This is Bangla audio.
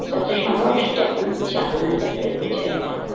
যত সম্ভব সেটা কোন চালনা জাতীয় কিছু একটা হবে।